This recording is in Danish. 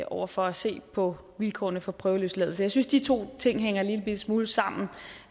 over for at se på vilkårene for prøveløsladelse jeg synes de to ting hænger en lillebitte smule sammen